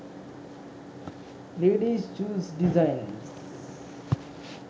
ladies shoes designs